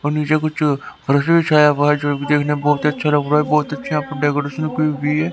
और नीचे कुछ रस भी छाया हुआ है जो देखने में बहुत अच्छा लग रहा है बहुत अच्छी यहां पर डेकोरेशन की हुई है.